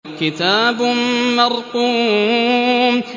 كِتَابٌ مَّرْقُومٌ